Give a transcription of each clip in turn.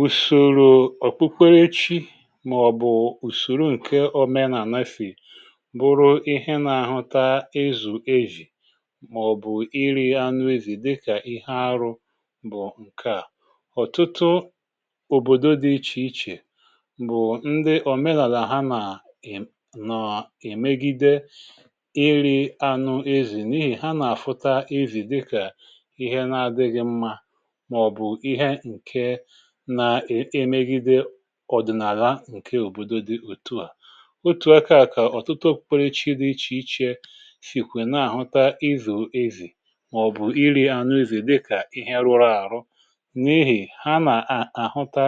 ùsòro ọkpụkpụregwechi màọ̀bụ̀ ùsòro ǹke ànụfị̀ bụrụ ihe nȧ-àhụta ezù ejì màọ̀bụ̀ iri anụ ezì dịkà ihe arụ bụ̀ ǹkè a ọ̀tụtụ òbòdo dị ichè ichè bụ̀ ndị òmenàlà ha nà-èmegide iri anụ ezì n’ihì ha nà-àfụta ezì dịkà ihe na-adịghị̇ mmȧ ọ̀dị̀nàlà ǹke òbòdo dị òtù à otù aka kà ọ̀tụtụ piipiri chi dị ichè ichè sìkwè na-àhụta izù ezì màọ̀bụ̀ iri̇ ànụ izù dịkà ihe rụrụ àrụ n’ehì ha nà-àhụta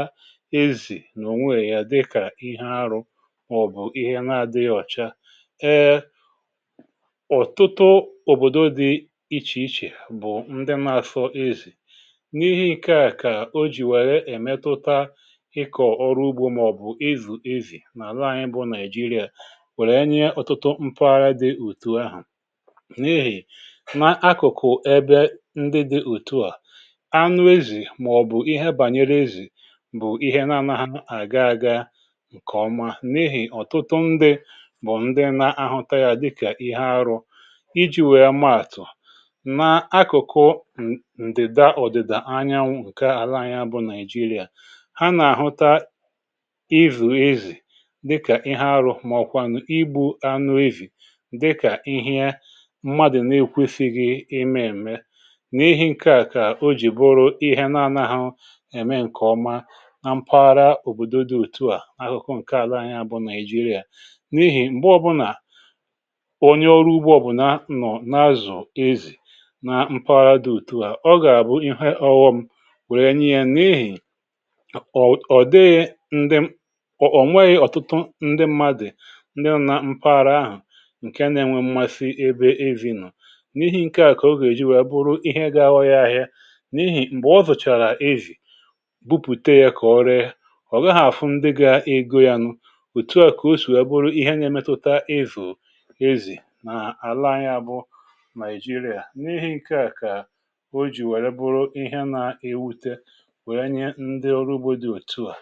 ezì nà ònweè ya dịkà ihe arụ màọ̀bụ̀ ihe na-adịghọ̀cha ee ọ̀tụtụ òbòdo dị ichè ichè bụ̀ ndị ma sọ ezì ịkọ̀ ọrụ ugbȯ màọ̀bụ̀ izù izì n’àla anyị bụ nigeria wèrè nye ụtụtụ mpụgharị dị ùtu ahụ̀ n’ihì na akụ̀kụ̀ ebe ndị dị ùtu à anụ ezì màọ̀bụ̀ ihe bànyere ezì bụ̀ ihe na-anaghị àga aga ǹkèọma n’ihì ọ̀tụtụ ndị bụ̀ ndị na-ahụta yȧ dịkà ihe arụ iji̇ wee maàtụ̀ na akụ̀kụ̀ ǹdị̀da ọ̀dị̀dà anyanwụ̇ ha nà-àhụta ịzụ̀ ezì dịkà ihe arụ̇ màọ̀kwànụ̀ igbu̇ anụ evì dịkà ihe mmadụ̀ na-ekwefizi gị ime ème n’ihi ǹke à kà o jì bụrụ ihe na anaghụ̇ ème ǹkè ọma nà mpaghara òbòdo dị òtù à n’ahụụ ǹke àla anyị abụ nà-èjiri à n’ihì m̀gbe ọbụnà onye ọrụ ugbȯ bụ̀ na nọ̀ na-azụ̀ ezì na mpaghara dị òtù à o gà à bụ ihe ọgwọ m wère nye yȧ ọ ọ̀dị ndị m ọ̀ ò nweghi ọ̀tụtụ ndị mmadụ̀ ndị nȧ nà mpaghara ahụ̀ ǹke na-enwe mmasi ebe evi̇ nụ̀ n’ihì ǹke à kà o gà-èji wèe bụrụ ihe gȧ-ahọ̇ ya ahịa n’ihì m̀gbè ọ zọ̀chàrà ezì bupùte yȧ kà ọ rie ọ̀ gaghị̇ àfụ ndị gȧ-ego yȧ nụ òtu à kà o sò ya bụrụ ihẹ nye metuta ezì ezì nà àla ya bụ nàịjiria n’ihi ǹke à kà o jì wèe bụrụ ihe na-ewute ǹdewoǹdewo ọ̀